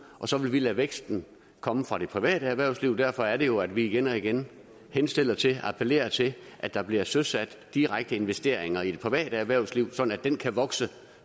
og så vil vi lade væksten komme fra det private erhvervsliv og derfor er det jo at vi igen og igen henstiller til og appellerer til at der bliver søsat direkte investeringer i det private erhvervsliv så det kan vokse